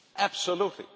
Absolutely.